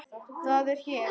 Það er hér.